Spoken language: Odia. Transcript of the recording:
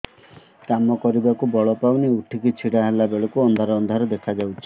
କାମ କରିବାକୁ ବଳ ପାଉନି ଉଠିକି ଛିଡା ହେଲା ବେଳକୁ ଅନ୍ଧାର ଅନ୍ଧାର ଦେଖା ଯାଉଛି